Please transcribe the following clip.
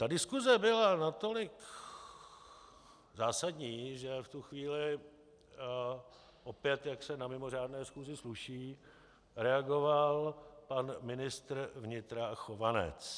Ta diskuse byla natolik zásadní, že v tu chvíli opět, jak se na mimořádné schůzi sluší, reagoval pan ministr vnitra Chovanec.